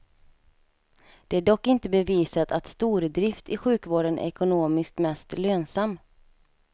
Det är dock inte bevisat att stordrift i sjukvården är ekonomiskt mest lönsam.